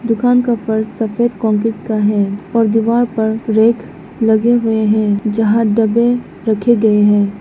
दुकान का फर्श सफेद कंक्रीट का है और दीवार पर रैक लगे हुए हैं यहां डब्बे रखे गए हैं।